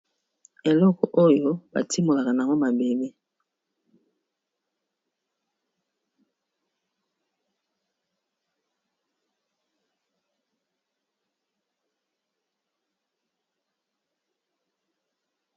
Eloko oyo batimolaka nango mabele.